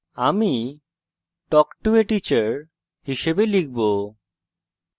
আমি talk to a teacher হিসাবে লিখব